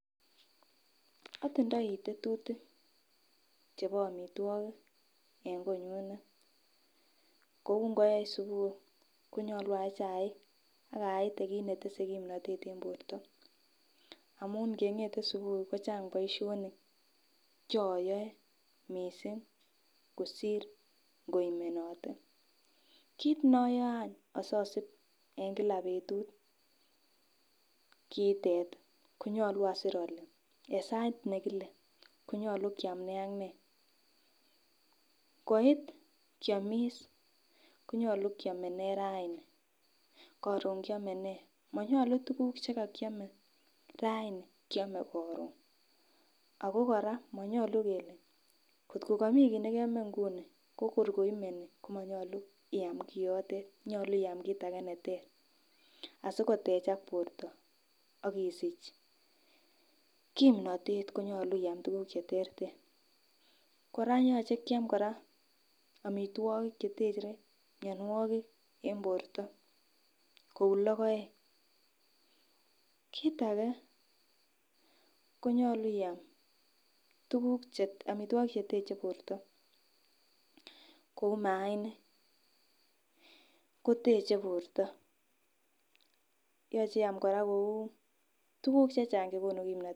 Otindoi tetutik chebo amitwogik en konyunet kou ngoech subui konyolu ayee chaik ak ayeiti kit netese kimnotet en borto amun ngengete subui ko chang boisionik choyoe missing kosir ngoimenote kit noyoe any asosib en kila betut kiitet ih konyolu asir ole en sait nekile konyolu kiam nee ak nee. Ngoit kiomis konyolu kiome nee raini koron kiome nee, monyolu tuguk chekokiome raini kiome koron ako kora monyolu kele kot ko komii kit nekeome nguni ko kor ngoimeni komonyolu iam kiotet nyolu iam kit neter asikotechak borto akisich kimnotet konyolu iam tuguk cheterter kora yoche kiam kora amitwogik chetere mionwogik en borto kou logoek, kit ake konyolu I am tuguk che amitwogik cheteche borto kou maaniik ko teche borto, yoche iam kora kou tuguk chechang chekonu kimnotet